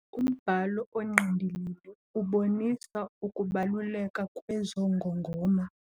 Umbhalo ongqindilili ubonisa ukubaluleka kwezo ngongoma.